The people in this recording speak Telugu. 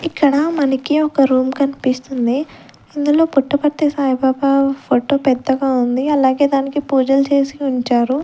ఇక్కడ మనకి ఒక రూం కన్పిస్తుంది ఇందులో పుట్టపర్తి సాయిబాబా ఫోటో పెద్దగా ఉంది అలాగే దానికి పూజలు చేసి ఉంచారు.